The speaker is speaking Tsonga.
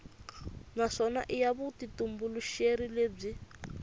naswona i ya vutitumbuluxeri lebyi